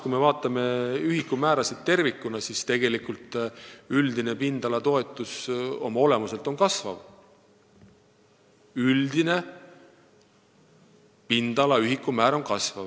Kui me vaatame ühikumäärasid tervikuna, siis tegelikult üldine pindalatoetus oma olemuselt kasvab, üldise pindalatoetuse ühikumäär kasvab.